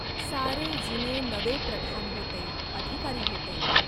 सारे जुने नवे प्रधान होते. अधिकारी होते.